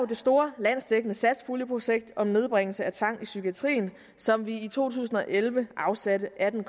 det store landsdækkende satspuljeprojekt om nedbringelse af tvang i psykiatrien som vi i to tusind og elleve afsatte atten